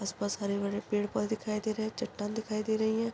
आसपास बड़े पेड़ पौधे दिखाई दे रहे है चट्टान दिखाई दे रही है।